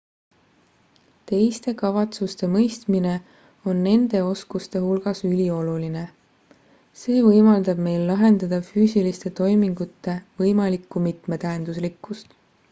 teiste kavatsuste mõistmine on nende oskuste hulgas ülioluline see võimaldab meil lahendada füüsiliste toimingute võimalikku mitmetähenduslikkust